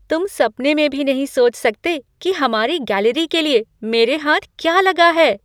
तुम सपने में भी नहीं सोच सकते कि हमारी गैलरी के लिए मेरे हाथ क्या लगा है!